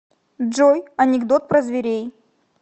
джой анекдот про зверей